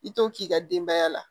I t'o k'i ka denbaya la